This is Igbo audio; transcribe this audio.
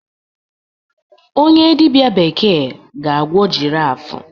onye dibịa bekee ga-agwọ giraffe